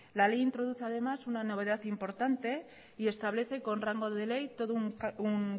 la ley introduce además una novedad importante y establece con rango de ley todo un